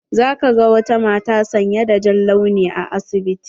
Na ga wata mata sanye da jan launi a asibiti.